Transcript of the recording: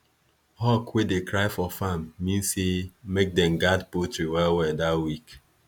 hawk wey dey cry for farm mean say make them guard poultry well well that week